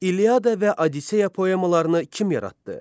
İliada və Odiseya poemalarını kim yaratdı?